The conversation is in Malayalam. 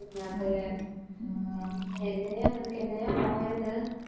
അതെ മ് എങ്ങനെയാ നിനക്ക് എങ്ങനെയാ പോയത്